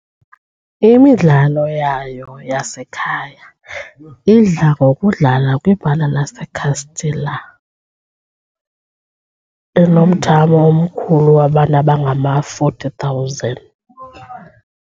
Imidlalo yayo yasekhaya idla ngokudlalwa kwibala laseCastelão, enomthamo omkhulu wabantu abangama-40 000.